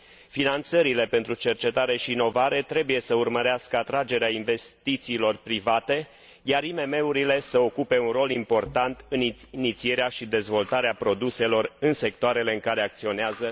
Finanțările pentru cercetare și inovare trebuie să urmărească atragerea investițiilor private, iar IMM urile să ocupe un rol important în inițierea și dezvoltarea produselor în sectoarele în care acționează.